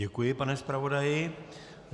Děkuji, pane zpravodaji.